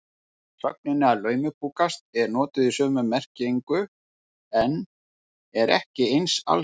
Sögnin að laumupokast er notuð í sömu merkingu en er ekki eins algeng.